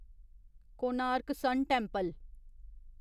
Konark sun temple